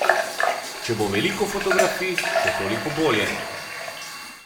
Če bo veliko fotografij, še toliko bolje.